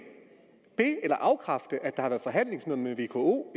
be eller afkræfte at der har været forhandlingsmøder med vko